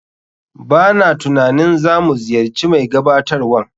B a na tunanin za mu ziyarci mai gabatarwan.